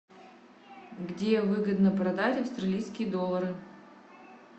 где выгодно продать австралийские доллары